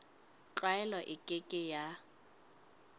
tlwaelo e ke ke ya